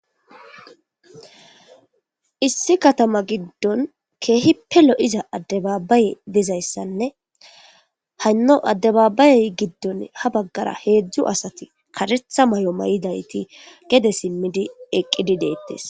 issi katama giddon keehipe lo'iza addebaabbaye dizayssanne haynno addebaabayey giddon ha baggara heedzdzu asati karetha mayo mayidayti gede simmidi eqqidi deettes